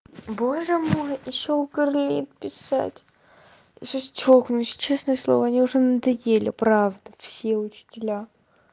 боже мой ещё писать я сейчас чёкнусь честное слово они уже надоели правда все учителя